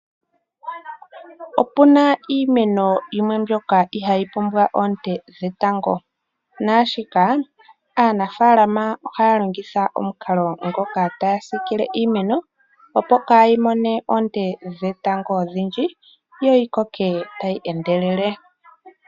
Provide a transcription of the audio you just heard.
Opu na iimeno yimwe mbyoka iha yi pumbwa oonte dhetango, naashika, aanafaalama oha ya longitha omukalo ngoka ta ya siikile iimeno opo ka yi mone oonte dhetango ondhindji yo yi koke ta yi endelele.